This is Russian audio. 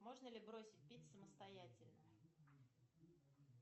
можно ли бросить пить самостоятельно